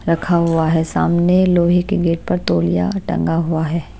रखा हुआ है सामने लोहे के गेट पर तोलिया टंगा हुआ है।